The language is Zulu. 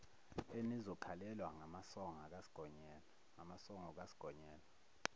enizokhalelwa ngamasongo kasigonyela